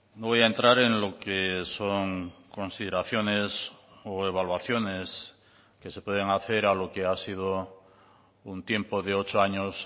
no voy a entrar en lo que son consideraciones o evaluaciones que se pueden hacer a lo que ha sido un tiempo de ocho años